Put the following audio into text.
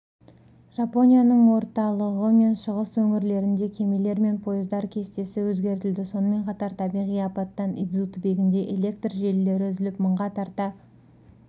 жапонияның орталығы мен шығыс өңірлерінде кемелер мен пойыздар кестесі өзгертілді сонымен қатар табиғи апаттан идзу түбегінде электр желілері үзіліп мыңға тарта